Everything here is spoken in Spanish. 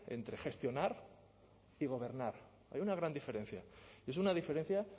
entre gestionar y gobernar hay una gran diferencia y es una diferencia